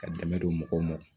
Ka dɛmɛ don mɔgɔw ma